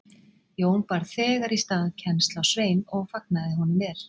Jón bar þegar í stað kennsl á Svein og fagnaði honum vel.